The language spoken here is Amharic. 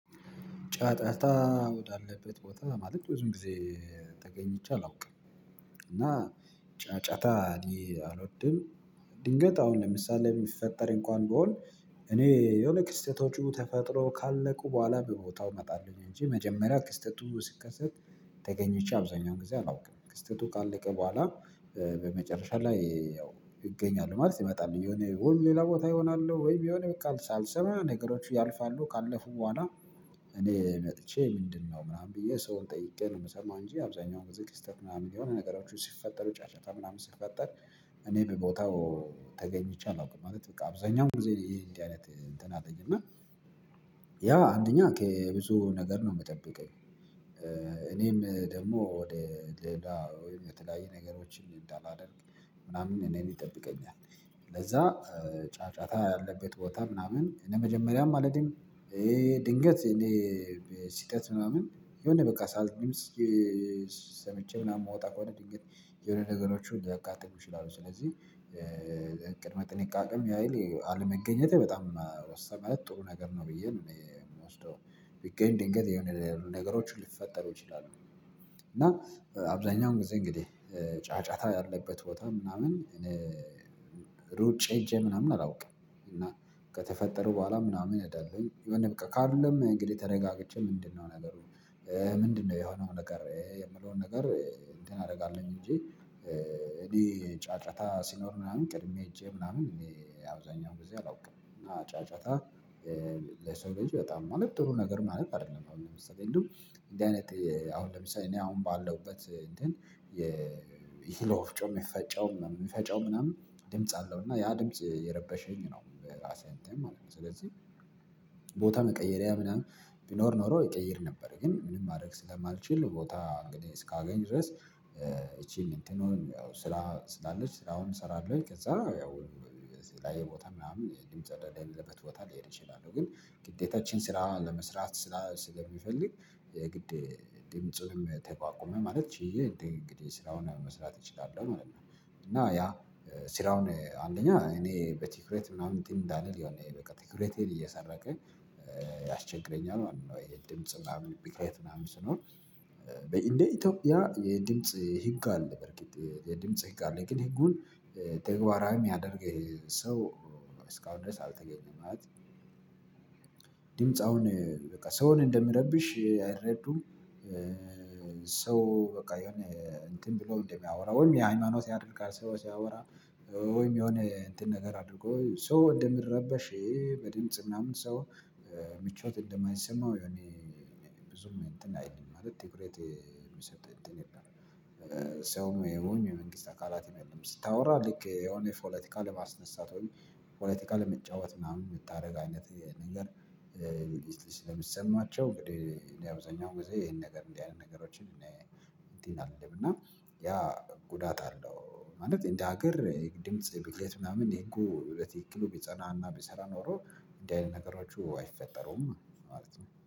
ጫጫታ ወዳለበት ቦታ ማለት ብዙም ጊዜ ተገኝቼ አላውቅም። እና እኔ አልወድም። ድንገት አሁን ለምሳሌ የሚፈጠር እንኳን ብሆን እኔ የሆነ ክስተቶቹ ተፈጥሮ ካለቁ በኋላ በቦታው እመጣለሁኝ እንጂ መጀመሪያ ክስተቱ ስትከሰት ተገኝቼ አብዛኛውን ጊዜ አላውቅም። ክስተቱ ቃል አለቀ በኋላ በመጨረሻ ላይ ያው እገኛለሁ ማለት እመጣለሁ። የሆነ ወይም ሌላ ቦታ ይሆናል ወይ የሆነ በቃ ሳልሰማ ነገሮች ያልፋሉ። ካለፉ በኋላ እኔ ምንድነው ምናምን ብዬ ሰውን ጠይቄ ነው የምሰማው እንጂ አብዛኛው በዚህ ክስተት ምናምን የሆነ ነገሮችን ሲፈጠሩ ጫጫታ ምናምን ስትፈጠር እኔ በቦታው ተገኝቼ አላውቅም። ማለት በቃ አብዛኛው ጊዜ የየት አይነት እንትን አለኝ እና ያ አንደኛ ከብዙ ነገር ነው የምጠብቀኝ። እኔም ደግሞ ወደ ሌላ ወይም የተለያየ ነገሮችን እንዳላደርግ ምናምን እኔን ይጠብቀኛል። ለዛ ጫጫታ ያለበት ቦታ ምናምን ለመጀመሪያም አልሄድም። ይሄ ድንገት ስህተት ምናምን የሆነ በቃ ሳልት ሰምቼ ምናምን የምወጣ ከሆነ ድንገት የሆነ ነገሮችን ለያጋጥሙ ይችላሉ። ስለዚህ ቅድመ ጥንቃቄም ያህል አለመገኘቴ በጣም ወሳኝ። ማለት ጥሩ ነገር ነው ብዬ ነው የምወስደው። ቢገኝ ድንገት የሆነ ነገሮችን ሊፈጠሩ ይችላሉ። እና አብዛኛው ጊዜ እንግዲህ ጫጫታ ያለበት ቦታ ምናምን ሩጬ ሄጄ ምናምን አላውቅም። እና ከተፈጠረው በኋላ ምናምን እኔ አይደለሁም የሆነ በቃ ካልልም እንግዲህ ተረጋግጬ ምንድነው ነገሩ ምንድነው የሆነው ነገር የምለውን ነገር እንትን አደርጋለን እንጂ ጫጫታ ሲኖር ምናምን ቅድሜ ሄጄ ምናምን አብዛኛው በዚህ አላውቅም። እና ጫጫታ ለሰው ልጅ በጣም ማለት ጥሩ ነገር ማለት አይደለም። አሁን ለምሳሌ እንደው እንዲህ አይነት አሁን ለምሳሌ እኔ አሁን ባለውበት እንደን የእህል ወፍጮ የሚፈጨውም የፈጨው ምናምን ድምጽ አለው እና ያ ድምጽ እየረበሸኝ ነው በራሴ ማለት ነው። ስለዚህ ቦታ መቀየሪያ ምናምን ቢኖር ኖሮ ይቀይር ነበር። ግን ምንም ማድረግ ስለማልችል ቦታ እንግዲህ እስካገኝ ድረስ ይቺን እንትን ሆን ያው ስራ ስራውን እሰራለሁኝ። ከዛ ያው ላይ ቦታ ምናምን የድምጽ አዳዳሚለበት ቦታ ልሄድ ይችላል ግን ግጤታችን ስራ ለመስራት ስለሚፈልግ የግድ ድምጽም ተቋቁመ ማለት ችዬ እንግዲህ ስራውን መስራት እችላለሁ ማለት ነው። እና ያ ስራውን አንደኛ እኔ በቲኩሬት ምናምን ቲም እንዳለ የሆነ በቃ ቲኩሬትን እየሰረቀ ያስቸግረኛል ወይ ድምጽ ቢከራየት ምናምን ስኖር በኢንዴ ኢትዮጵያ የድምጽ ህግ አለ። በርካታ የድምጽ ህግ አለ። የንግድ ህጉን ተግባራም ያደርግ ሰው እስካወደሰ አልተገኘም ማለት ድምጽ አሁን በቃ ሰውን እንደሚረብሽ አይረዱም። ሰው በቃ የሆነ እንትን ብለው እንደሚያወራ ወይም የሃይማኖት ያደርጋል ሰው ሲያወራ ወይም የሆነ እንትን ነገር አድርጎ ሰው እንደምረበሽ ይሄ በድምጽ ምናምን ሰው ምቾት እንደማይሰማው የኔ ብዙም እንትን አይድልም ማለት ትኩሬት የሚሰጥ እንትን የለም ሰው ነው ወይም የመንግስት አካላት የሚል ስታወራ ልክ የሆነ ፖለቲካ ለማስነሳት ወይም ፖለቲካ ለመጫወት ምናምን የምታደርግ አይነት ነገር ሊስት ሊስት ለሚሰማቸው እንግዲህ እንዲህ አብዛኛው ጊዜ ይሄን ነገር እንዲህ አይነት ነገሮችን እኔ አለም እና ያ ጉዳት አለው። ማለት እንደ ሀገር ድምጽ ብዬት ምናምን ይሄን እኮ በተክሎ ቢጸናና ቢሰራ ኖሮ እንዳይል ነገሮች አይፈጠሩም ማለት ነው።